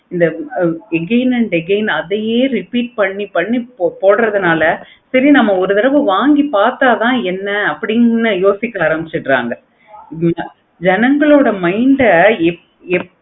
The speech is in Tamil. again and again அதையே repeat பண்ணி பண்ணி போடுறதுனால சரி நம்ம ஒரு தடவை வாங்கி பார்த்த தான் என்ன அப்படின்னு யோசிக்க ஆரம்பிச்சிருங்க. ஜனங்களோட mind ஆஹ்